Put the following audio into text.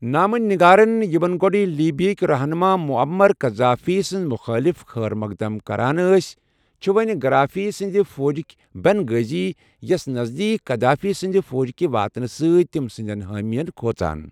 نامہ نِگارن یِمَن گۄڈٕ لیبیاہٕکہِ رہنما معمر قذافی سٕنٛدِ مُخٲلِف خٲرمقدم کران ٲسۍ، چھ، وونہِ گرافی سندِ فوجكہِ بن غازیَ یَس نزدیٖک گدافی سندِ فوجكہِ واتنہٕ سۭتۍ تمہِ سندین حٲمین كھوژان ۔